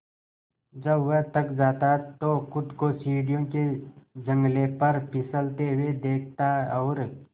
जब वह थक जाता तो खुद को सीढ़ियों के जंगले पर फिसलते हुए देखता और